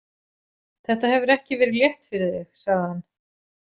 Þetta hefur ekki verið létt fyrir þig, sagði hann.